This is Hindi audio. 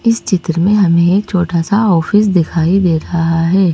इस चित्र में हमें एक छोटा सा ऑफिस दिखाई दे रहा है।